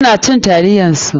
Su na cin taliyar su.